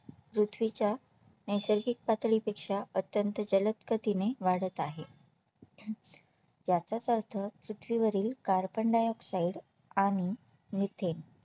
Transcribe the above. पृथ्वीच्या नैसर्गिक पातळीपेक्षा अत्यंत जलद गतीने वाढत आहे याचाच अर्थ पृथ्वीवरील Carbondioxide आणि Methane